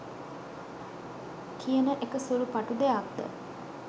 කියන එක සුළු පටු දෙයක්ද?